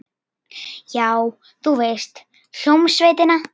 Já, þú veist, hljómsveitina.